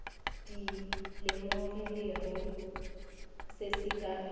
di lemogilego se se ka